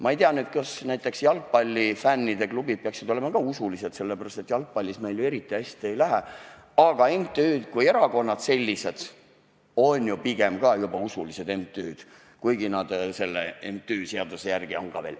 Ma ei tea nüüd, kas näiteks jalgpallifännide klubid peaksid samuti olema usulised, sest jalgpallis meil ju eriti hästi ei lähe, aga erakonnad kui MTÜ-d on ka juba pigem usulised MTÜ-d.